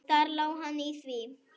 Þar lá hann í því!